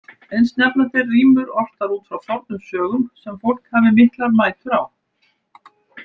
Eins nefna þeir rímur ortar út frá fornum sögum, sem fólk hafi miklar mætur á.